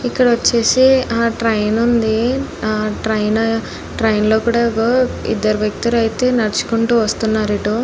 ఇక్కడ చూసినట్టు అయితే ఇక్కడ ఒక ట్రైన్ ఉంది . ట్రైన్ కుడా ఇద్దరు వ్యక్తులు ఇట్టే నడుచుకుంటే వస్తున్నారు ఇటు.